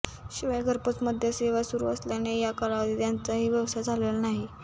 शिवाय घरपोच मद्य सेवा सुरु असल्याने या कालावधीत त्यांचाही व्यवसाय झालेला नाही